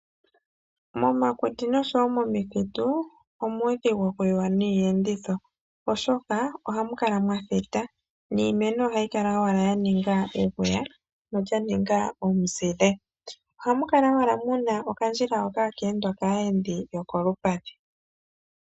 Momakuti noshowo momithitu omuudhigu oku yiwa niiyenditho oshoka oha mu kala mwa thita, niimeno oha yi kala owala ya ninga egoya ano ya ninga omuzile. Oha mu kala owala muna okandjila hoka ha ka endwa kaayendi yokolupadhi.